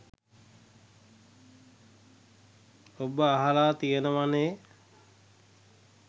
ඔබ අහලා තියෙනවනේ.